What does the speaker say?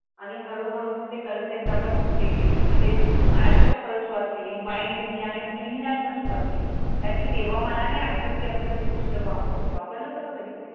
आणि हळूहळू ते कॉन्सेप्ट आपण हे केली महणजे एकसेप्ट करायला सुरुवात केली. मायंड नी आपण लेहनयात पण सुरुवात केली, अणी तेहवा मला नाही आडवत क काही पुस्तक वापरले, वापरले होते का कधी?